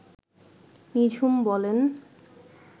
নিঝুম বলেন